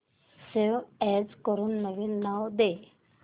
save as करून नवीन नाव दे